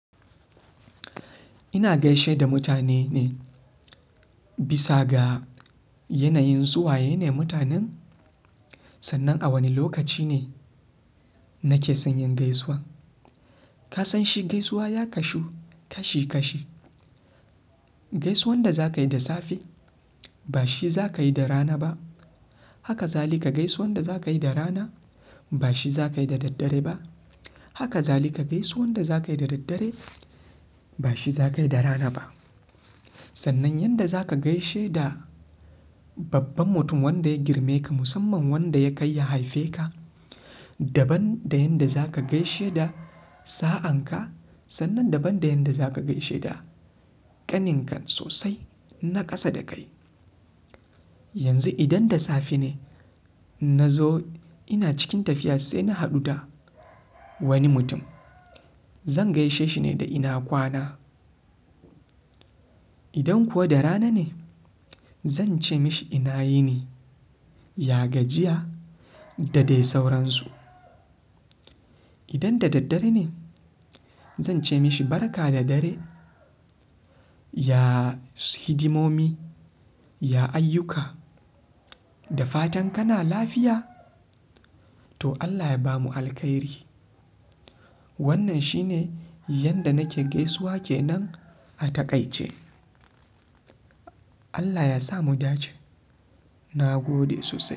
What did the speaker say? Ina gaishe da mutane ne bisa ga yanayin suwaye ne mutanen, sannan a wani lokaci ne nake son yin gaisuwa. Ka san shi gaisuwa ya kasu kashi kashi. Gaisuwan da za ka yi da safe ba shi za ka yi da rana ba. Haka zalika gaisuwan da za ka yi da rana ba shi za ka yi da daddare ba. Haka zali ka gaisuwan da za ka yi da daddare ba shi za ka yi da rana ba. Sannan yanda za ka gaishe da babban mutum wanda ya girme ka musamman wanda ya kai ya haife ka. Daban da yanda za ka gaishe da sa'an ka sannan daban da yanda za ka gaishe da ƙanin kan sosai na ƙasa da kai. Yanzu idan da safe ne inna zo ina cikin tafiya sai na haɗu da wani mutum. Zan gaishe shi ne da ina kwana. Idan kuwa da rana ne zan ce mishi ina yini? Ya gajiya? Da dai sauransu. Idan da daddare ne zan ce mishi barka da dare. Ya hidimomi, ya ayyuka, da fatan kana lafiya to Allah ya bamu alkhairi. Wannan shi ne yanda nake gaisuwa ke nan a taƙaice. Allah ya sa mu dace. Na gode sosai.